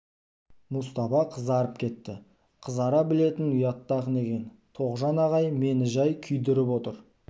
мұстапа қызарып кетті қызара білетін ұятты ақын екен тоғжан ағай мені жай күйдіріп отыр